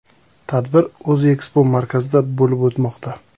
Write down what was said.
Tadbir “O‘zekspomarkaz”da bo‘lib o‘tmoqda.